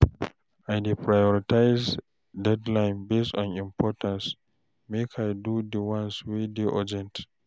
I dey prioritize deadlines based on importance, make I do di ones wey dey urgent.